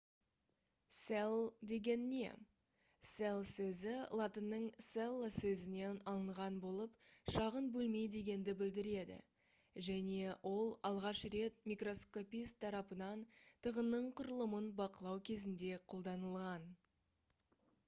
cell деген не cell сөзі латынның cella сөзінен алынған болып шағын бөлме дегенді білдіреді және ол алғаш рет микроскопист тарапынан тығынның құрылымын бақылау кезінде қолданылған